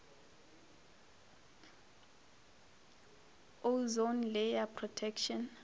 ozone layer protection